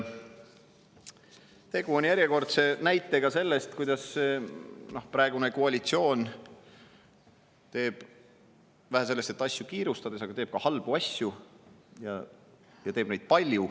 Tegu on järjekordse näitega sellest, kuidas praegune koalitsioon asju teeb, vähe sellest, et kiirustades, tehakse ka halbu asju, ja palju.